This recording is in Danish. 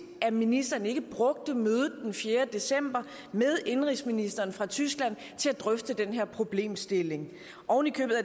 at ministeren ikke brugte mødet den fjerde december med indenrigsministeren fra tyskland til at drøfte den her problemstilling og